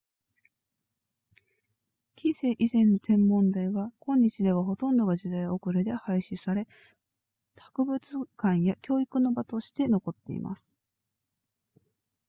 近世以前の天文台は今日ではほとんどが時代遅れで廃止され博物館や教育の場として残っています